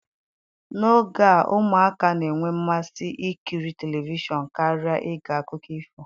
N'oge a ụmụaka na-enwe mmasị ikiri telivishọn karịa ige akụkọ ifo